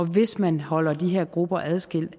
hvis man holder de her grupper adskilt